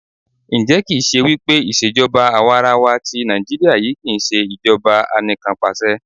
Ǹjẹ́ kì ń ṣe wípé ìṣèjọba àwarawa tí Nàìjíríà yí kí ń ṣe ìṣèjọba Anìkanpàṣẹ?